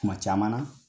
Kuma caman na